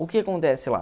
O que acontece lá?